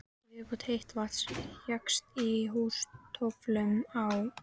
Mikil viðbót heits vatns fékkst á Húsatóftum á